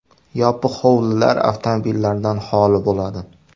Yopiq hovlilar avtomobillardan holi bo‘ladi.